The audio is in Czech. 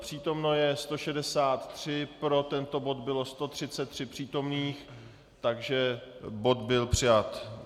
Přítomno je 163, pro tento bod bylo 133 přítomných, takže bod byl přijat.